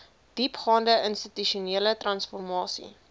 diepgaande institusionele transformasie